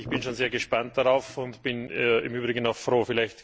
Ich bin schon sehr gespannt darauf und bin im Übrigen auch froh.